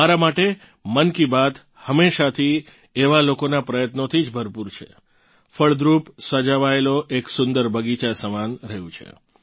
મારાં માટે મન કી બાત હમેશાથી એવાં લોકોનાં પ્રયત્નોથી જ ભરપૂર છે ફળદ્રુપ સજાવાયેલો એક સુંદર બગીચા સમાન રહ્યું છે